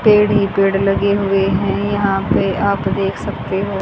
पेड़ ही पेड़ लगे हुए हैं यहां पे आप देख सकते हो।